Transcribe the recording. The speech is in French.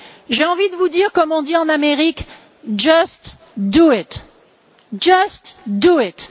J'ai envie de vous dire comme on dit en Amérique Just do it!